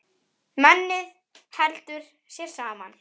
Mennið heldur sér saman.